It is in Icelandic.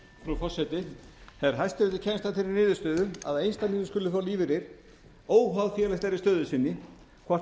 frú forseti þegar hæstiréttur kemst að þeirri niðurstöðu að einstaklingur skuli fá lífeyri óháð félagslegri stöðu sinni hvort